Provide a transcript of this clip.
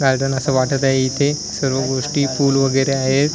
Garden असं वाटत आहे इथे सर्व गोष्टी फुल वगैरे आहेत.